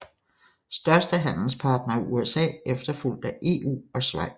Største handelspartner er USA efterfulgt af EU og Schweiz